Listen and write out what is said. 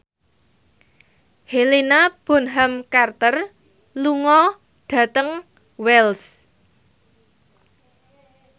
Helena Bonham Carter lunga dhateng Wells